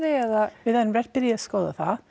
eða við erum byrjuð að skoða það